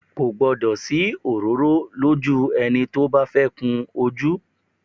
Kò gbọ́dọ̀ sí òróró lójú ẹni tí ó bá fẹ́ kun ojú